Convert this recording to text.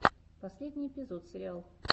последний эпизод сириал